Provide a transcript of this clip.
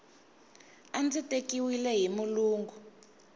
a ndzi tekiwile hi mulungu